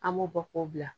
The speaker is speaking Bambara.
An b'o bɔ k'o bila